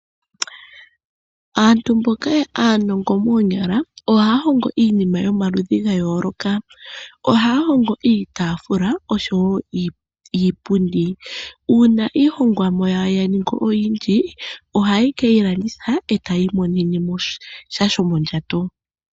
Aantu mboka aanongo moonyala ohaya hongo iinima yomaludhi ga yooloka ohaya hongo iitafula oshowo iipundi uuna iihongomwa yawo ya ningi oyindji ohaye ke yi landitha eta ya imonene mosha shomondjato .